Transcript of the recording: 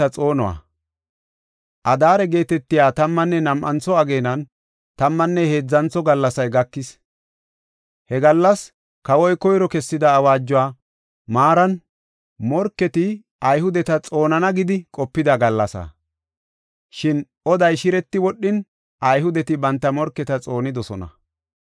Adaare geetetiya tammanne nam7antho ageenan tammanne heedzantho gallasay gakis. He gallas, kawoy koyro kessida awaajuwa maaran morketi Ayhudeta xoonana gida qopida gallasaa. Shin oday shireti wodhin, Ayhudeti banta morketa xoonidosona.